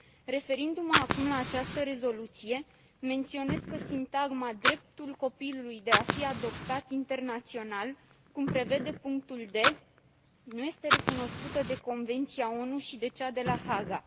Referindu mă acum la această rezoluție, menționez că sintagma dreptul copilului de a fi adoptat internațional, cum prevede punctul d, nu este recunoscută de convenția ONU și de cea de la Haga.